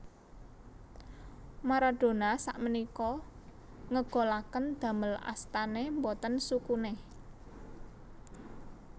Maradona sakmenika ngegolaken damel astane mboten sukune